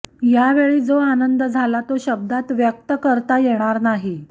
यावेळी जो आनंद झाला तो शब्दात व्यक्त करता येणार नाही